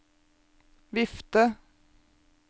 vifte